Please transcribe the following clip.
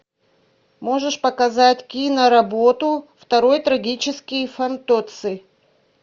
можешь показать киноработу второй трагический фантоцци